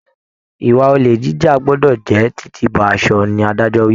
Ìwà olè jíjà gbọdọ jẹ titi bọ aṣọ ni adájọ wí.